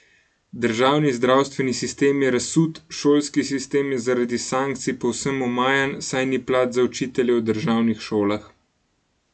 Državni zdravstveni sistem je razsut, šolski sistem je zaradi sankcij povsem omajan, saj ni plač za učitelje v državnih šolah.